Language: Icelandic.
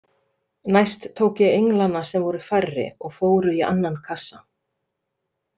Næst tók ég englana sem voru færri og fóru í annan kassa.